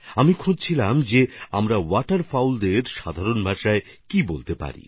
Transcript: আমি ভাবছিলাম আমরা ওয়াটারফাউলকে সাধারণ শব্দে কী বলতে পারি